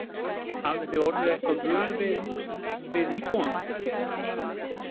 Hafið þið orðið eitthvað vör við, við íbúana?